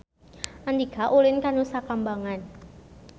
Andika ulin ka Nusa Kambangan